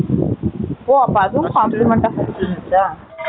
ஓ, அப்ப அதுவும் அ, first complimentary ஆ இருந்துச்சா